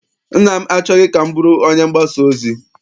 Nna m achọghị ka m bụrụ onye mgbasa ozi.